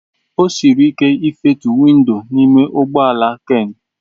O siri ike ịfetu windo n'ime ụgbọ ala Ken.